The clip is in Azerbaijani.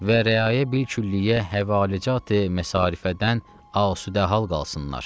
Və rəayə bilkülliyə həvalacat məsarifədən asüdə hal qalsınlar.